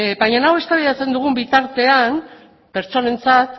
baina hau eztabaidatzen dugun bitartean pertsonentzat